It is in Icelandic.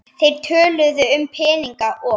Þeir töluðu um peninga og